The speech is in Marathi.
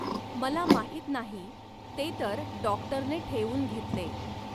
मला माहित नाही, ते तर डॉक्टरने ठेवून घेतले.